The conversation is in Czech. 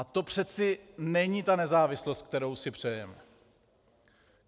A to přece není ta nezávislost, kterou si přejeme!